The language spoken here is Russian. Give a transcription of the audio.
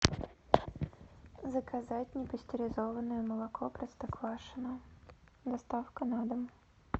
заказать непастеризованное молоко простоквашино доставка на дом